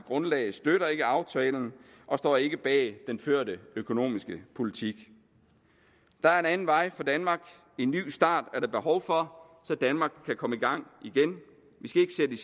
grundlag støtter ikke aftalen og står ikke bag den førte økonomiske politik der er en anden vej for danmark en ny start er der behov for så danmark kan komme i gang igen